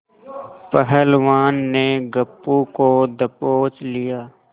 पहलवान ने गप्पू को दबोच लिया